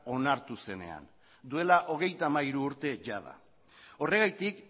onartu zenean duela hogeita hamairu urte jada horregatik